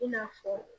I n'a fɔ